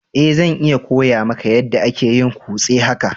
Eh, zan iya koya maka yada ake yin kose haka.